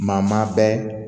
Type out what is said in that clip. Maa maa bɛɛ